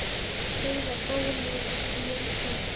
Heiðar bóli ég bý.